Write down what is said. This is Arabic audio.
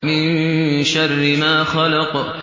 مِن شَرِّ مَا خَلَقَ